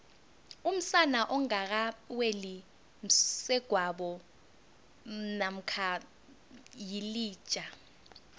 umsana ongaka weli msegwabo mamkha yilija